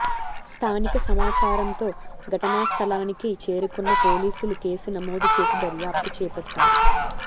స్థానిక సమాచారంతో ఘటనాస్థలానికి చేరుకున్న పోలీసులు కేసు నమోదు చేసి దర్యాప్తు చేపట్టారు